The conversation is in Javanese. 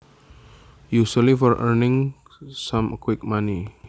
Usually for earning some quick money